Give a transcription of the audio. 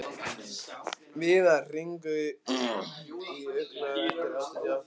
Viðar, hringdu í Illuga eftir áttatíu og átta mínútur.